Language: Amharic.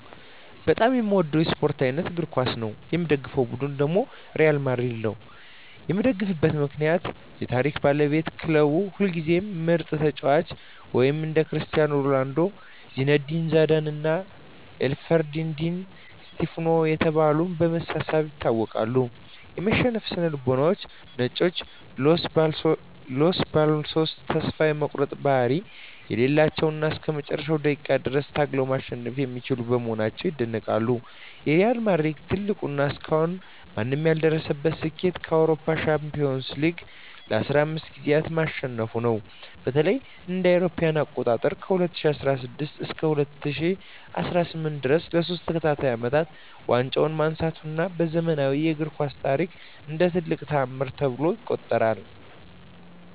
በጣም የምወደው የስፓርት አይነት እግር ኳስ ነው። የምደግፈው ቡድን ሪያል ማድሪድ ነው። የምደግፍበት ምክንያት ዠ የታሪክ ባለቤትነት ክለቡ ሁልጊዜም ምርጥ ተጫዋቾችን (እንደ ክርስቲያኖ ሮናልዶ፣ ዚነዲን ዚዳን እና አልፍሬዶ ዲ ስቲፋኖ ያሉ) በማሰባሰብ ይታወቃል። የማሸነፍ ስነ-ልቦና "ነጮቹ" (Los Blancos) ተስፋ የመቁረጥ ባህሪ የሌላቸው እና እስከ መጨረሻው ደቂቃ ድረስ ታግለው ማሸነፍ የሚችሉ በመሆናቸው ይደነቃሉ። የሪያል ማድሪድ ትልቁ እና እስካሁን ማንም ያልደረሰበት ስኬት የአውሮፓ ሻምፒዮንስ ሊግን (UEFA Champions League) ለ15 ጊዜያት ማሸነፉ ነው። በተለይም እ.ኤ.አ. ከ2016 እስከ 2018 ድረስ ለሶስት ተከታታይ አመታት ዋንጫውን ማንሳቱ በዘመናዊው እግር ኳስ ታሪክ እንደ ትልቅ ተአምር ይቆጠራል።